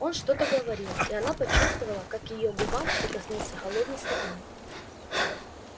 он что-то говорил и она почувствовала как к её губам прикоснулся холодный стакан